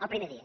el primer dia